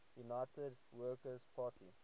united workers party